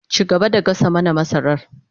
Ci gaba da gasa mana masarar